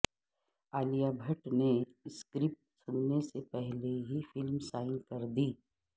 عالیہ بھٹ نے اسکرپٹ سننے سے قبل ہی فلم سائن کردی